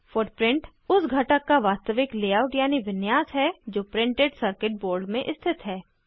footprint उस घटक का वास्तविक लेआउट यानी विन्यास है जो प्रिंटेड सर्किट बोर्ड में स्थित है